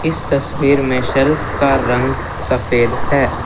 इस तस्वीर में शेल्फ का रंग सफ़ेद है।